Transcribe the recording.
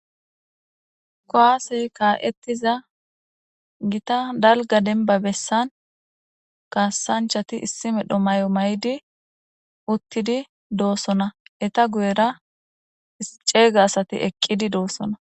kowasey kaa7ettiza gita dalga denba bessan kaasanchati issi medho may7o may7di uttidi doossona eta guyera ceega asati eqqidi doossona